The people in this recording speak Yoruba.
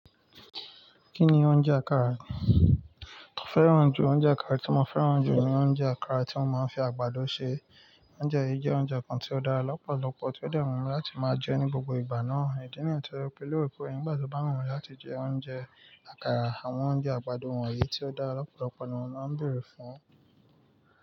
Kí ni oúnjẹ àkàrà? Mo fẹ́ràn ju oúnjẹ àkàrà tí mo fẹ́ràn jù ni oúnjẹ àkàrà tí wọ́n máa ń fi àgbàdo ṣe. Oúnjẹ yìí jẹ́ oúnjẹ kan tí ó dára lọ́pọ̀lọpọ̀ tí ó de wumi láti máa jẹ ní gbogbo ìgbà náà. Ìdí nìyí tí mo fi l'èró pè nigbati o ba wumi láti jẹ oúnjẹ àkàrà, àwọn oúnjẹ àgbàdo wọ̀nyí tí ó dára lọ́pọ̀lọpọ̀ ni mò máa ń bèrè fún un.